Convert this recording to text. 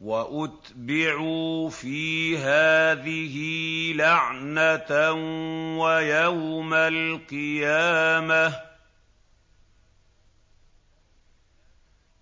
وَأُتْبِعُوا فِي هَٰذِهِ لَعْنَةً وَيَوْمَ الْقِيَامَةِ ۚ